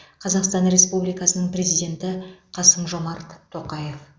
қазақстан республикасының президенті қасым жомарт тоқаев